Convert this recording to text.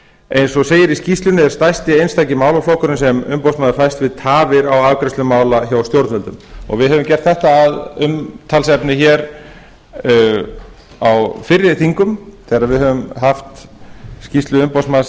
eins og segir í skýrslunni er stærsti einstaki málaflokkurinn sem umboðsmaðurinn fæst við tafir á afgreiðslu mála hjá stjórnvöldum við höfum gert þetta að umtalsefni hér á fyrri þingum þegar við höfum haft skýrslu umboðsmanns